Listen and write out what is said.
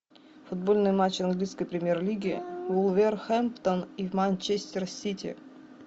футбольный матч английской премьер лиги вулверхэмптон и манчестер сити